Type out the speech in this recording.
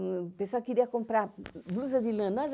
O pessoal queria comprar blusa de lã.